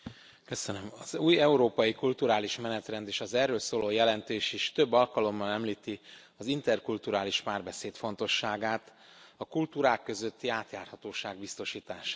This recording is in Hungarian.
Elnök Asszony! Az új európai kulturális menetrend és az erről szóló jelentés is több alkalommal említi az interkulturális párbeszéd fontosságát, a kultúrák közötti átjárhatóság biztosítását.